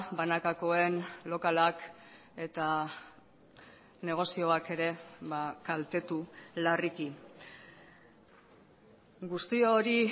banakakoen lokalak eta negozioak ere kaltetu larriki guzti hori